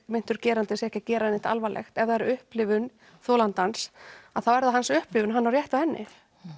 meintur gerandi sé ekki að gera neitt alvarlegt ef það er upplifun þolandans þá er það hans upplifun og hann á rétt á henni